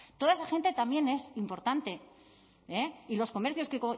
toda esa gente también es importante y los comercios